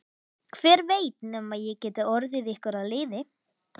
Hver veit nema ég geti orðið ykkur að liði.